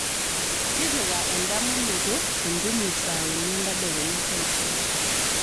tipika endamunoto e ntumo saa uni entedekenya taisere